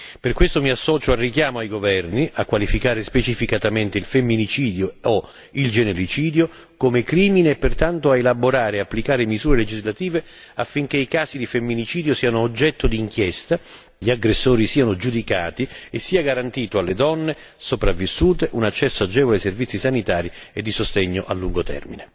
Per questo mi associo al richiamo ai governi a qualificare specificatamente il femminicidio o il genericidio come crimine e pertanto ad elaborare e applicare misure legislative affinché i casi di femminicidio siano oggetto di inchiesta, gli aggressori siano giudicati e sia garantito alle donne sopravvissute un accesso agevole ai servizi sanitari e di sostegno a lungo termine.